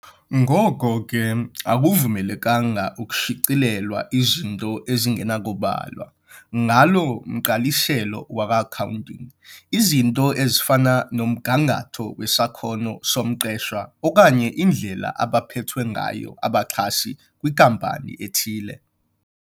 Ngoko ke, akuvumelekanga ukushicilelwa izinto ezingenakubalwa ngalo mgqaliselo wakwa-Accounting, izinto ezifana nomgangatho wesakhono somqeshwa okanye indlela abaphethwe ngayo abaxhasi kwinkampani ethile.